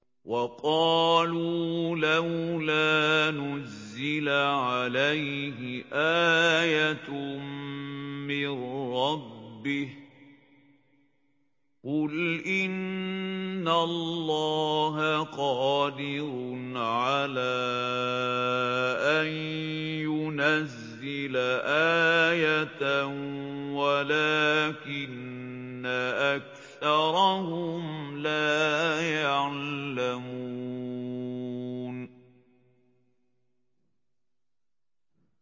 وَقَالُوا لَوْلَا نُزِّلَ عَلَيْهِ آيَةٌ مِّن رَّبِّهِ ۚ قُلْ إِنَّ اللَّهَ قَادِرٌ عَلَىٰ أَن يُنَزِّلَ آيَةً وَلَٰكِنَّ أَكْثَرَهُمْ لَا يَعْلَمُونَ